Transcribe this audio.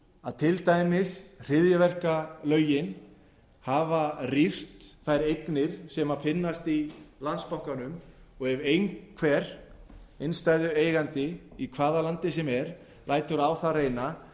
að til dæmis hryðjuverkalögin hafa rýrt þær eignir sem finnast í landsbankanum og ef einhver innstæðueigandi í hvaða landi sem er lætur á það reyna